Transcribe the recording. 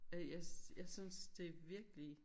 Og jeg jeg synes det virkelig